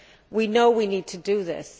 We know we need to do this